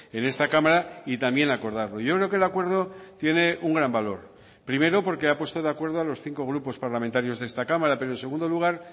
en esta cámara y también acordarlo yo creo que el acuerdo tiene un gran valor primero porque ha puesto de acuerdo a los cinco grupos parlamentarios de esta cámara pero en segundo lugar